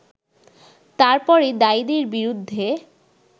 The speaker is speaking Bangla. তারপরই দায়ীদের বিরুদ্ধে